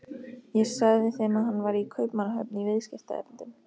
Ég sagði þeim að hann væri í Kaupmannahöfn í viðskiptaerindum.